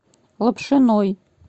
лапшиной